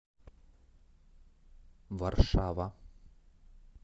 варшава